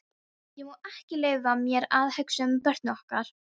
Ég má ekki leyfa mér að hugsa um börnin okkar.